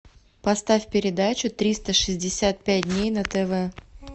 поставь передачу триста шестьдесят пять дней на тв